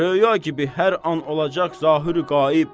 Röya kimi hər an olacaq zahiri qaib.